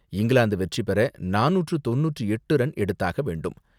இங்கிலாந்து வெற்றிபெற நானூற்று தொண்ணூற்று எட்டு ரன் எடுத்தாக வேண்டும்.